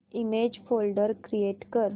image folder create कर